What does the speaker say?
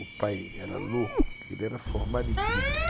O pai era louco, porque ele era formado em química.